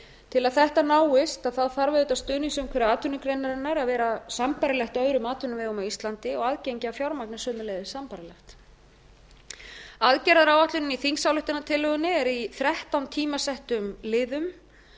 til að þetta náist þarf auðvitað stuðningsumhverfi atvinnugreinarinnar að vera sambærilegt öðrum atvinnuvegum á íslandi og aðgengi að fjármagni sömuleiðis sambærilegt aðgerðaáætlunin í þingsályktunartillögunni er í þrettán tímasettum liðum